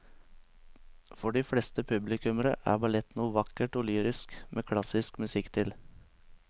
For de fleste publikummere er ballett noe vakkert og lyrisk med klassisk musikk til.